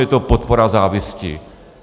Je to podpora závisti.